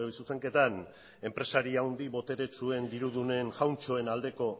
zuzenketan enpresari handi boteretsuen dirudunen jauntxoen aldeko